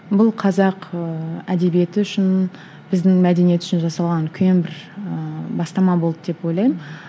бұл қазақ ыыы әдебиеті үшін біздің мәдениет үшін жасалған үлкен бір ііі бастама болды деп ойлаймын